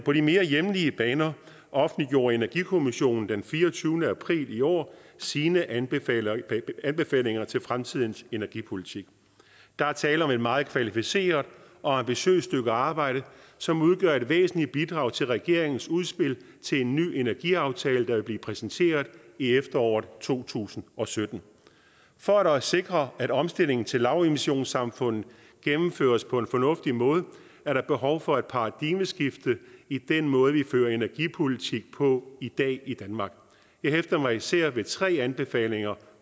på de mere hjemlige baner offentliggjorde energikommissionen den fireogtyvende april i år sine anbefalinger anbefalinger til fremtidens energipolitik der er tale om et meget kvalificeret og ambitiøst stykke arbejde som udgør et væsentligt bidrag til regeringens udspil til en ny energiaftale der vil blive præsenteret i efteråret to tusind og sytten for at sikre at omstillingen til lavemissionssamfundet gennemføres på en fornuftig måde er der behov for et paradigmeskifte i den måde vi fører energipolitik på i dag i danmark jeg hæfter mig især ved tre anbefalinger